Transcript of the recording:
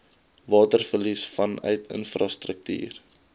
waterverlies vanuit infrastruktuur